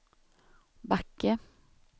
Backe